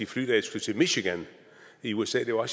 fly da jeg skulle til michigan i usa det var